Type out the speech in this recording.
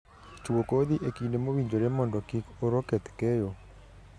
Chuo kodhi e kinde mowinjore mondo kik oro keth keyo